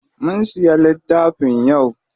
Mun siya littafin yau.